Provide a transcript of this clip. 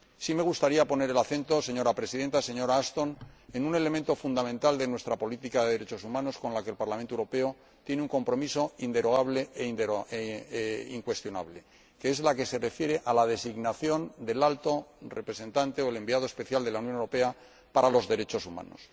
Sí me gustaría poner el acento, señora Presidenta, señora Ashton, en un elemento fundamental de nuestra política de derechos humanos con la que el Parlamento Europeo tiene un compromiso inderogable e incuestionable el que se refiere a la designación del Representante Especial de la UE para los Derechos Humanos.